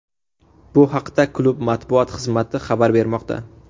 Bu haqda klub matbuot xizmati xabar bermoqda .